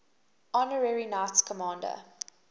honorary knights commander